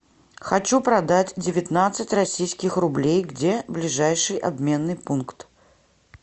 хочу продать девятнадцать российских рублей где ближайший обменный пункт